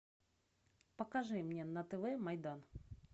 покажи мне на тв майдан